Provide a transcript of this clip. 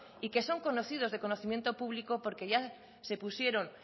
y que son conocidos de conocimiento público porque ya se pusieron